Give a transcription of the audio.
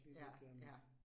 Ja, ja